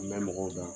N bɛ mɔgɔw dɔn